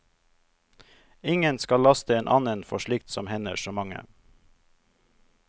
Ingen skal laste en annen for slikt som hender så mange.